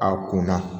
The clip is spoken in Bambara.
A kunna